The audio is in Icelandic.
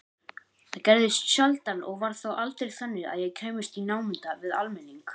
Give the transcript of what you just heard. Það gerðist sjaldan og var þá aldrei þannig að ég kæmist í námunda við almenning.